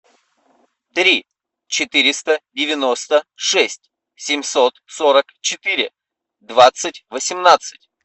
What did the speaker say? три четыреста девяносто шесть семьсот сорок четыре двадцать восемнадцать